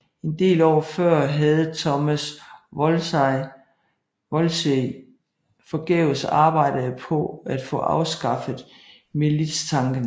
En del år før havde Thomas Wolsey forgæves arbejdet på at få afskaffet militstanken